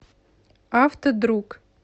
автодруг